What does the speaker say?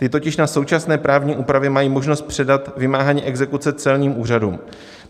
Ty totiž na současné právní úpravě mají možnost předat vymáhání exekuce celním úřadům.